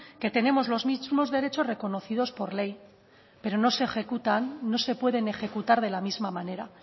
que tenemos los mismos derechos reconocidos por ley pero no se ejecutan no se pueden ejecutar de la misma manera